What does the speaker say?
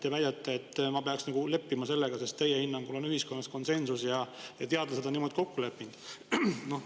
Te väidate, et ma peaks leppima sellega, sest teie hinnangul on ühiskonnas konsensus ja teadlased on niimoodi kokku leppinud.